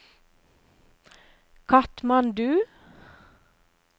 Katmandu